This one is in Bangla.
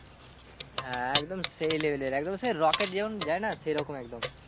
হ্যাঁ একদম সেই level এর একদম সেই rocket যেরম যায় না সেরকম একদম